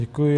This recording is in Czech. Děkuji.